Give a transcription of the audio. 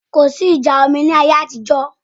Kò sí ìjà omi ní ayé àtijọ́